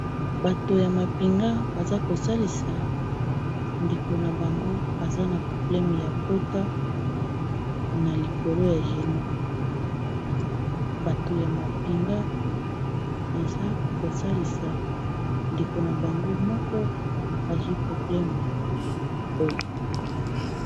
Bato ya mapinga baza kosalisa ndeko na bango aza na probleme ya pota na likolo ya génux bato ya mapinga baza kosalisa ndeko na bango moko azwi probleme ya likolo.